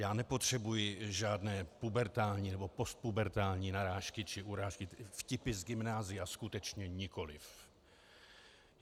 Já nepotřebuji žádné pubertální nebo postpubertální narážky či urážky i vtipy z gymnázia, skutečně nikoliv.